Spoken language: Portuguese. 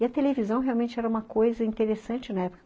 E a televisão realmente era uma coisa interessante na época.